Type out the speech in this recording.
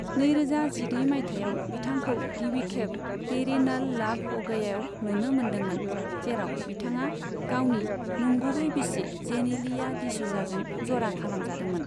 नैरोजा जिनै मायथाइयाव बिथांखौ गिबिखेब तेरे नाल लाव ह' गयायाव नुनो मोनदोंमोन, जेराव बिथाङा गावनि नंगुबै बिसि जेनेलिया डिसूजाजों जरा खालामजादोंमोन।